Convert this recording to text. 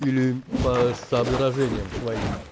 или по соображениям своим